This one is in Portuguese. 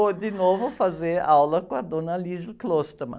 Vou, de novo, fazer aula com a dona.